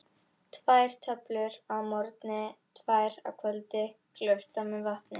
Tvær töflur að morgni, tvær að kvöldi, gleyptar með vatni.